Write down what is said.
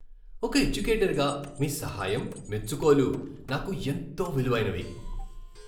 ఒక ఎడ్యుకేటర్గా మీ సహాయం, మెచ్చుకోలు నాకు ఎంతో విలువైనవి.